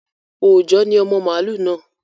Òòjọ́ ni ọmọ màlú náà